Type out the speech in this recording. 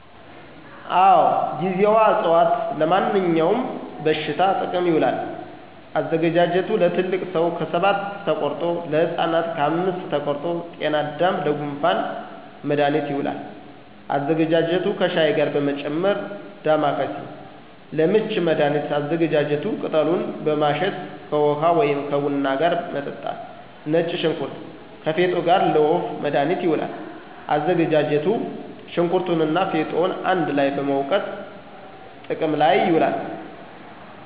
አወ ;ጊዜዋ አፅዋት-ለማንኛውም በሽታ ጥቅም ይውላል። አዘገጃጀቱ ለትልቅ ሰው ከሰባት ተቆርጦ, ለህፃናት ከአምስት ተቆርጦ -ጤናዳም :ለጉንፋን መድሀኒት ይውላል አዘገጃጀቱ ከሻይ ጋር በመጨመር -ዳማከሴ: ለምች መድሀኒት አዘገጃጀቱ ቅጠሉን በማሸት ከውሀ ወይም ከቡና ጋር መጠጣት -ነጭ ሽንኩርት ከፌጦ ጋር: ለወፍ መድሀኒት ይውላል አዘገጃጀቱ ሸንኩርቱንና ፌጦውን አንድ ላይ በመውገጥ ጥቅም ላይ ይውላል